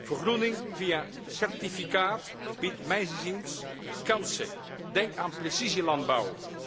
Vergroening via een certificaat biedt mijns inziens kansen denk aan precisielandbouw.